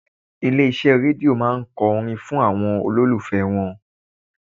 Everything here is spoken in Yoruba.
Ilé iṣẹ́ Rédíò máa ń kọ orin fún àwọn olólùfẹ́ wọn.